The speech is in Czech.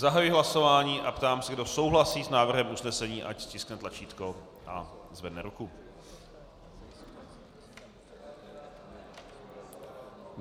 Zahajuji hlasování a ptám se, kdo souhlasí s návrhem usnesení, ať stiskne tlačítko a zvedne ruku.